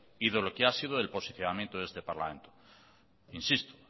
y de lo que ha sido el posicionamiento de este parlamento insisto